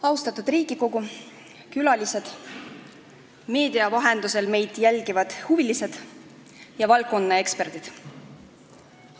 Austatud Riigikogu, külalised, meedia vahendusel meid jälgivad huvilised ja valdkonnaeksperdid!